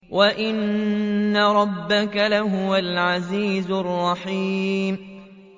وَإِنَّ رَبَّكَ لَهُوَ الْعَزِيزُ الرَّحِيمُ